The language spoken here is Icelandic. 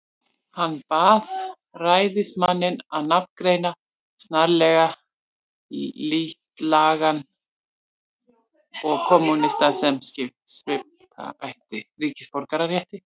Hann bað ræðismanninn að nafngreina snarlega útlagann og kommúnistann, sem svipta ætti ríkisborgararétti.